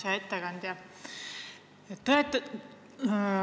Hea ettekandja!